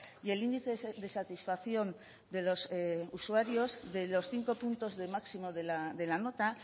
y el índice de satisfacción de los usuarios de los cinco puntos de máximo de la nota